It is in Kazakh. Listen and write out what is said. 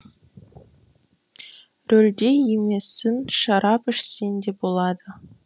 рөлде емессің шарап ішсең де болады